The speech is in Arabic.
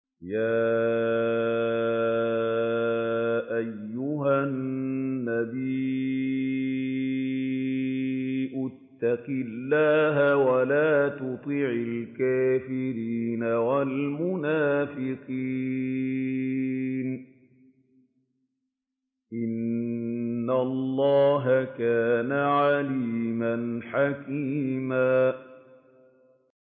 يَا أَيُّهَا النَّبِيُّ اتَّقِ اللَّهَ وَلَا تُطِعِ الْكَافِرِينَ وَالْمُنَافِقِينَ ۗ إِنَّ اللَّهَ كَانَ عَلِيمًا حَكِيمًا